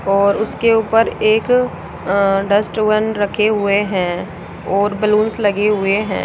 और उसके ऊपर एक अ डस्टबिन रखे हुए हैं और बलूंस लगे हुए है।